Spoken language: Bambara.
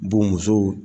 Bo musow